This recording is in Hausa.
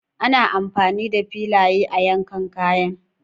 Ana amfani da filaye a yankan kayan.